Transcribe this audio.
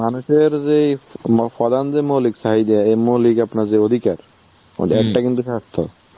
মানুষের যে প্র~ প্রধান যে মৌলিক চাহিদা, এই মৌলিক আপনার যে অধিকার তার মধ্যে একটা কিন্তু স্বাস্থ্য.